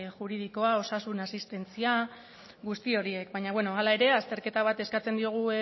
juridikoa osasun asistentzia guzti horiek baina beno hala ere azterketa bat eskatzen diogu